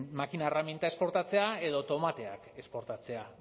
makina erreminta esportatzea edo tomateak esportatzea